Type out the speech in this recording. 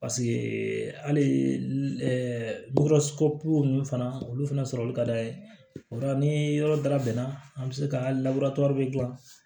Paseke hali ninnu fana olu fana sɔrɔlu ka d'a ye o la ni yɔrɔ dayɛlɛ na an bɛ se ka gilan